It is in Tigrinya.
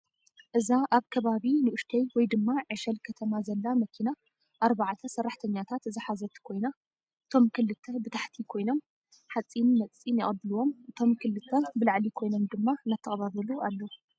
እዛ ኣብ ከባቢ ንኡሽተይ ወይ ድማ ዕሸል ከተማ ዘላ መኪና ኣርባዕተ ሰራተሕተኛታት ዝሓዘት ኮይና እቶም ክልተ ብታሕቲ ኮይኖም ሓፂም መፂን የቅብልዎም እቶም ክልተ ብላዕሊ ኮይኖም ድማ እናተቀባበሉ ኣለዉ፡፡